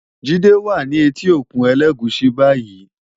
Jide wá ni éti ókún Elegushi bàyí